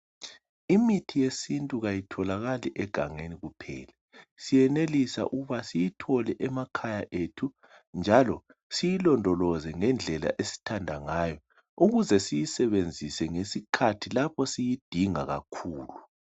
Imithi yesintu kayitholakali egangeni kuphela, siyenelisa ukuba siyithole emakhaya ethu njalo siyilondoloze ngendlela esithanda ngayo ukuze siyisebenzise ngesikhathi lapho siyidinga kakhulu